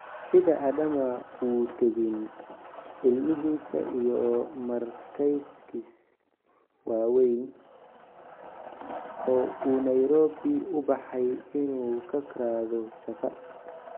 Sidaa, Adama wuu tegin ilmihiisa iyo markaykiis waaweyn, oo uu Nairobi u baxay inuu ka raado shaqo.